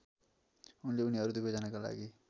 उनले उनीहरू दुवैजनाका लागि